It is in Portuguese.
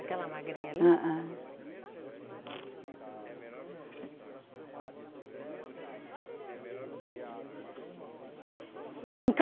Aquela magrinha ali? É, é